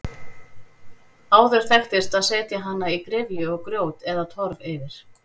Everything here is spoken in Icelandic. Áður þekktist að setja hana í gryfju og grjót eða torf yfir.